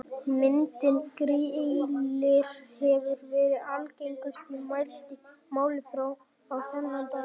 Myndin Grillir hefur verið algengust í mæltu máli fram á þennan dag.